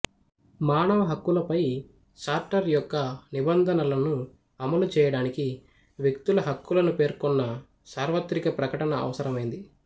మానవ హక్కులపై చార్టర్ యొక్క నిబంధనలను అమలు చేయడానికి వ్యక్తుల హక్కులను పేర్కొన్న సార్వత్రిక ప్రకటన అవసరమైంది